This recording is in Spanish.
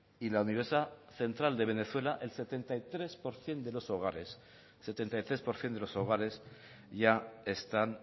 y la universidad central de venezuela el setenta y tres por ciento de los hogares ya están